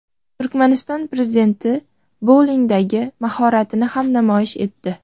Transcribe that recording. Turkmaniston prezidenti boulingdagi mahoratini ham namoyish etdi .